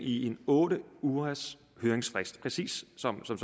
i en otte ugers høringsfrist præcis sådan som